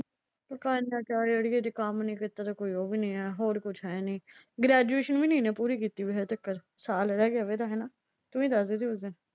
ਉਹ ਕਹਿ ਦਿੰਦਾ ਜੇ ਕੰਮ ਨਈਂ ਕੀਤਾ ਤਾਂ ਕੋਈ ਉਹ ਵੀ ਨਈਂ ਆ ਐ ਨਾ ਹੋਰ ਕੁਛ ਹੈ ਨਈਂ ਗ੍ਰੈਜੂਏਸ਼ਨ ਵੀ ਨਈਂ ਇਹਨੇ ਪੂਰੀ ਕੀਤੀ ਹਜੇ ਤੱਕ। ਸਾਲ ਰਹਿ ਗਿਆ ਵਾ ਇਹਦਾ ਹਨਾ। ਤੂੰ ਈ ਦੱਸਦੀ ਸੀ ਉਸ ਦਿਨ।